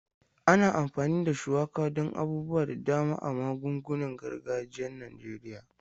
Ana amfani da shuwaka don abubuwa da dama a magungunan gargajiyan Najeriya.